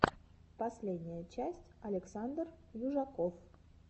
последняя часть александр южаков